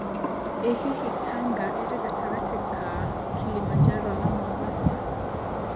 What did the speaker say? ĩ Hihi Tanga ĩrĩ gatangati inĩ ka Kilimanjaro na Mombasa